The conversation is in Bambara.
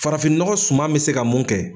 Farafin nɔgɔ suma bɛ se ka mun kɛ.